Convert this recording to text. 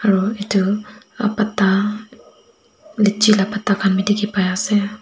aru etu patta litchi laga patta khan bhi dekhi pai ase.